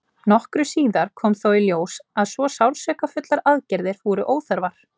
nokkru síðar kom þó í ljós að svo sársaukafullar aðgerðir voru óþarfar